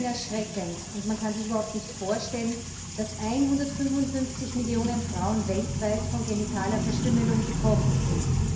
Die Zahlen sind erschreckend, und man kann sich überhaupt nicht vorstellen, dass 155 Millionen Frauen weltweit von genitaler Verstümmelung betroffen sind.